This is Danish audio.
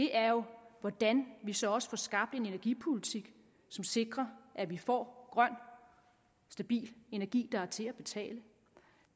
er jo hvordan vi så også får skabt en energipolitik som sikrer at vi får grøn stabil energi der er til at betale